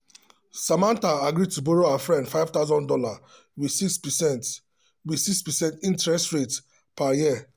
samantha agree to borrow her friend five thousand dollars with 6 percent with 6 percent interest rate per year.